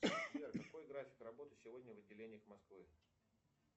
сбер какой график работы сегодня в отделениях москвы